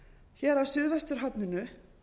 hér á suðvesturhorninu